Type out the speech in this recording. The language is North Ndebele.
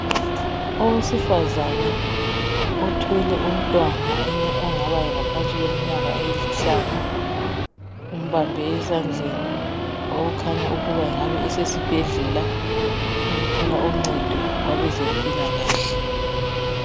Owesifazana uthwele umntwana ongaba ngaphansi kweminyaka emihlanu umbambe esandleni okukhanya ukuba engabe esesibhedlela ukuthola uncedo kwabezempilakahle.